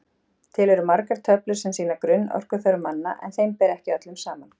Til eru margar töflur sem sýna grunnorkuþörf manna en þeim ber ekki öllum saman.